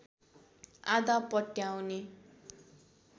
आधा पट्याउने